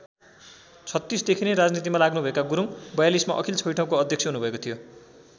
०३६ देखि नै राजनीतिमा लाग्नुभएका गुरुङ ०४२ मा अखिल छैठौँको अध्यक्ष हुनुभएको थियो।